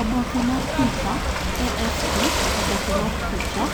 Oboke mar picha, AFP Oboke mar picha,